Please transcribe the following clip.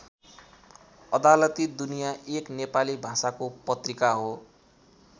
अदालती दुनिया एक नेपाली भाषाको पत्रिका हो।